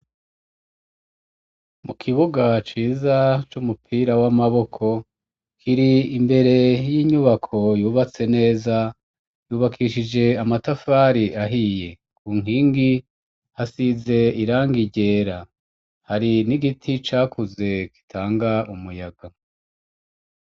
Mu kibuga ciza c'umupira w'amaboko kiri imbere y'inyubako yubatse neza yubakishije amatafari ahiye ku nkingi hasize irangi ryera hari n'igiti cakuze gitanga umuyaga.